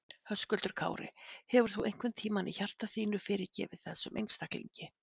Höskuldur Kári: Hefur þú einhvern tímann í hjarta þínu fyrirgefið þessum einstaklingi?